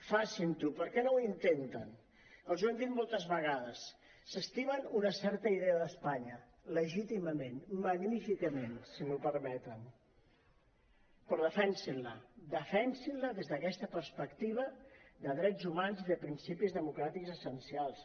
facin·ho per què no ho intenten els ho hem dit moltes vegades s’estimen una certa idea d’espa·nya legítimament magníficament si m’ho permeten però defensin·la defensin·la des d’aquesta perspectiva de drets humans i de principis democràtics essencials